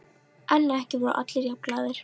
En ekki voru allir jafn glaðir.